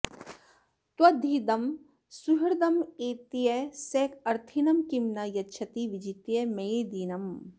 त्वद्विधं सुहृदमेत्य स अर्थिनं किं न यच्छति विजित्य मेदिनीम्